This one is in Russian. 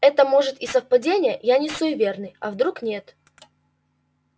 это может и совпадение я не суеверный а вдруг нет